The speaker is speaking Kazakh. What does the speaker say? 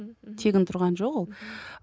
тегін тұрған жоқ ол